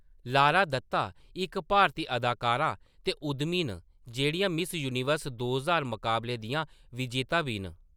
Lara Dutta इक भारती अदाकारा ते उद्यमी न जेह्‌‌ड़ियां मिस यूनिवर्स दो ज्हार मकाबले दियां विजेता बी न।